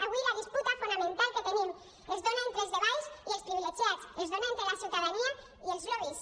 avui la disputa fonamental que tenim es dona entre els de baix i els privilegiats es dona entre la ciutadania i els lobbys